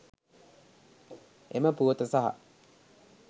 එම පුවත සහ